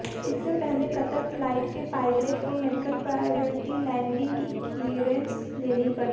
इसके पहले Qatar flight के पायलट को मेडिकल प्रायोरिटी लैंडिंग की क्लीयरेंस लेनी पड़ी